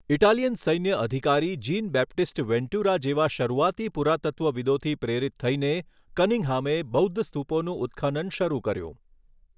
Italian સૈન્ય અધિકારી Jean Baptiste Ventura જેવા શરૂઆતી પુરાતત્ત્વવિદોથી પ્રેરિત થઈને કનિંઘહામે બૌદ્ધ સ્તૂપોનું ઉત્ખનન શરૂ કર્યું.